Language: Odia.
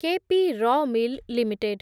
କେ ପି ର ମିଲ୍ ଲିମିଟେଡ୍